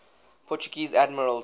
portuguese admirals